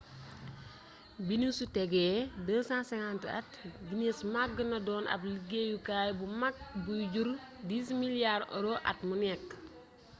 bi ñu ci tegee 250 at guinness magg na doon ab liggéeyukaay bu mag buy jur 10 miliyaari oro us$14,7 miliyaar at mu nekk